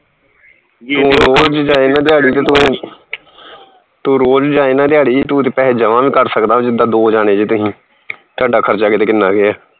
ਤੂੰ ਰੋਜ ਜਾਏ ਨਾ ਦਿਹਾੜੀ ਤੇ ਤੂੰ ਤੂੰ ਰੋਜ ਜਾਏ ਨਾ ਦਿਹਾੜੀ ਤੂੰ ਤੇ ਪੈਹੇ ਜਮਾ ਵੀ ਕਰ ਸਕਦਾ ਜਿੱਦਾ ਦੋ ਜਾਣੇ ਜੇ ਤੁਹੀ ਤੁਹਾਡਾ ਖਰਚਾ ਕਿਤੇ ਕਿੰਨਾ ਕੇ ਆ